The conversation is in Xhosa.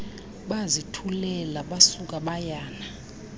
bazithulela basuka bayana